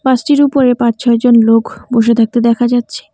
বাসটির উপরে পাঁচ ছয় জন লোক বসে থাকতে দেখা যাচ্ছে।